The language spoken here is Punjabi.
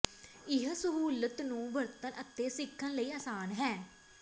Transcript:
ਇਹ ਸਹੂਲਤ ਨੂੰ ਵਰਤਣ ਅਤੇ ਸਿੱਖਣ ਲਈ ਆਸਾਨ ਹੈ